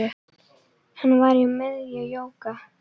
Hann var í miðjum jóga